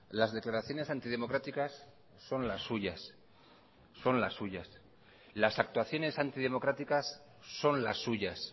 las declaraciones antidemocráticas son las suyas son las suyas las actuaciones antidemocráticas son las suyas